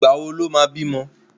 Ìgbà wo lo má bímọ